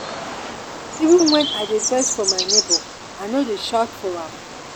even wen i dey vex for my nebor i no dey shout for am.